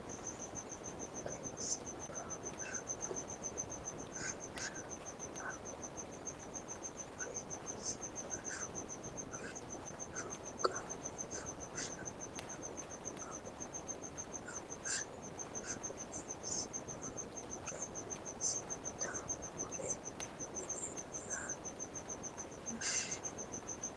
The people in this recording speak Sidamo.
mure siibba shuqune shuushshe Agummo mure siibba shuqune shuushshe Agummo Agummo shuushshe shuqune siibba mure siitta gure mine ya wonshe !